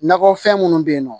Nakɔfɛn minnu bɛ yen nɔ